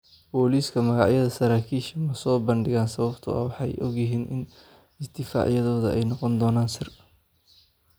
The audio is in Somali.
Boolisku magacyada saraakiishaas ma soo bandhigin sababtoo ah waxay ogyihiin in isdifaacyadooda ay noqon doonaan sir.